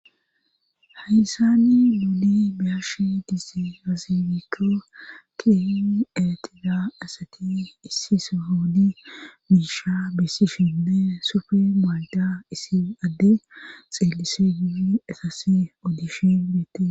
Haysani nuuni biyashi dise azifikko kin etida asati issi s hoodi miisha bessi shenne sufe maalda issi adde xeelise gidi etas odishi bete.